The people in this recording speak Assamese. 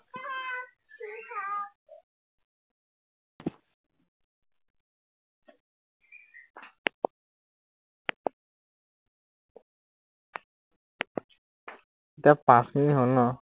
এতিয়া পাঁচ মিনিট হল ন?